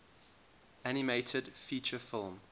animated feature film